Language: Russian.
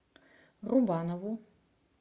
рубанову